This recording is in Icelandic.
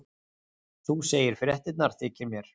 Þú segir fréttirnar þykir mér!